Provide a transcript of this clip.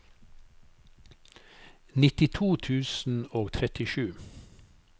nittito tusen og trettisju